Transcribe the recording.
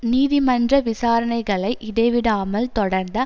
நீதிமன்ற விசாரணைகளை இடைவிடாமல் தொடர்ந்த